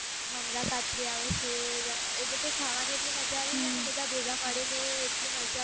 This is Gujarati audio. મમરા પાતરી આવે છે એ બધુ ખાવાની આટલી મજા આવી જાઈ ને ભેગા મળી ને આટલી મજા